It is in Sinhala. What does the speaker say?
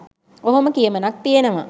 ඔහොම කියමනක් තියනව.